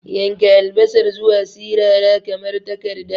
Yanka albasar zuwa sirara kamar takarda.